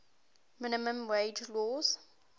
minimum wage laws